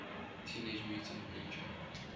teenage mutant ninja